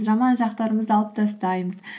жаман жақтарымызды алып тастаймыз